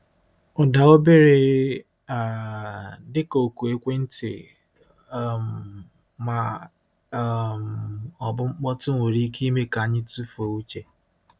Ụda obere um — dịka oku ekwentị um ma um ọ bụ mkpọtụ nwere ike ime ka anyị tufuo uche.